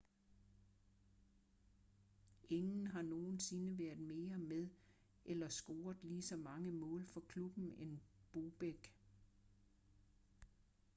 ingen har nogensinde været mere med eller scoret ligeså mange mål for klubben end bobek